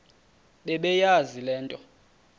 bebeyazi le nto